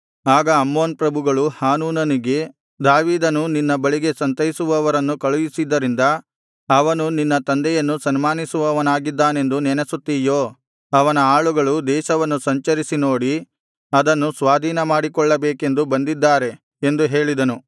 ಆಗ ಅಮ್ಮೋನ್ ಪ್ರಭುಗಳು ಹಾನೂನನಿಗೆ ದಾವೀದನು ನಿನ್ನ ಬಳಿಗೆ ಸಂತೈಸುವವರನ್ನು ಕಳುಹಿಸಿದ್ದರಿಂದ ಅವನು ನಿನ್ನ ತಂದೆಯನ್ನು ಸನ್ಮಾನಿಸುವವನಾಗಿದ್ದಾನೆಂದು ನೆನಸುತ್ತೀಯೋ ಅವನ ಆಳುಗಳು ದೇಶವನ್ನು ಸಂಚರಿಸಿ ನೋಡಿ ಅದನ್ನು ಸ್ವಾಧೀನಮಾಡಿಕೊಳ್ಳಬೇಕೆಂದು ಬಂದಿದ್ದಾರೆ ಎಂದು ಹೇಳಿದರು